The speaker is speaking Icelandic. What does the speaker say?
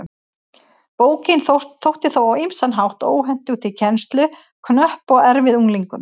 Bókin þótti þó á ýmsan hátt óhentug til kennslu, knöpp og erfið unglingum.